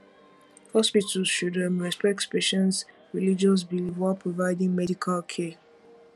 hospitals should um respect patients religious beliefs while providing medical care